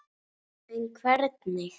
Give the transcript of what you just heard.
En hvernig?